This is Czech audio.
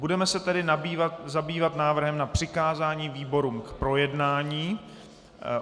Budeme se tedy zabývat návrhem na přikázání výborům k projednání.